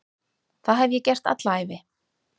Það hef ég gert alla ævi.